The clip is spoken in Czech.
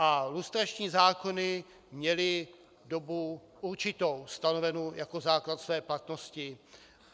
A lustrační zákony měly dobu určitou, stanovenou jako základ své platnosti.